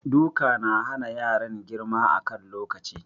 Duka na hana yaran girma a kan lokaci.